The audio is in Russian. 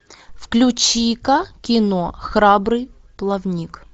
включи ка кино храбрый плавник